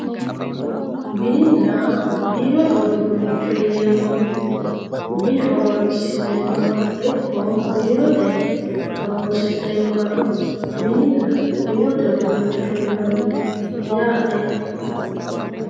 mininna biirote uduunnicho yineemmo woyte mine horoonsi'neemmoha ikko biirote horonsi'neemmohanno mininna biirote uduunnicho yinanni yaate